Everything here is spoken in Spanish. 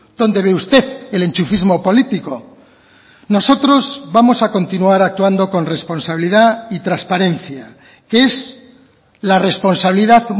dónde ve usted el enchufismo político nosotros vamos a continuar actuando con responsabilidad y transparencia que es la responsabilidad